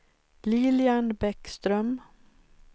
Lilian Bäckström